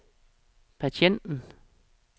patienten